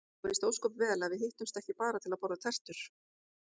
Þú veist ósköp vel að við hittumst ekki bara til að borða tertur.